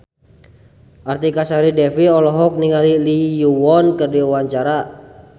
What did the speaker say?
Artika Sari Devi olohok ningali Lee Yo Won keur diwawancara